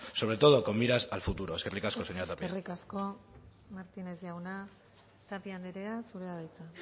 sobre todo con miras al futuro eskerrik asko señora tapia eskerrik asko martínez jauna tapia andrea zurea da hitza